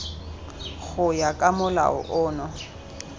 go ya ka molao ono